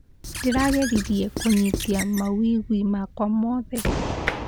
Ndĩrageririe kũnyita mawĩigwi makwa mothe.